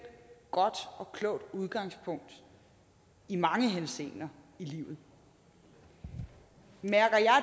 godt og klogt udgangspunkt i mange henseender i livet mærker jeg